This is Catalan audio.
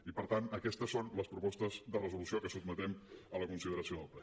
i per tant aquestes són les propostes de resolució que sotmetem a la consideració del ple